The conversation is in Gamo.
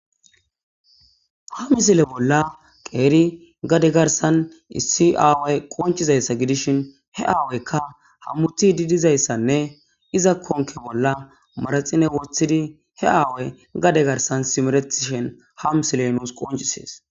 Ha misile bolla qeeri gade garsan issi aaway qoncizayssa gidishin he aawaykka hammuti didizayssanne iza konke bolla maraxine wothidi he aaway gade garsan simeretishen ha misiley nuus qoncisees.